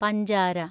പഞ്ചാര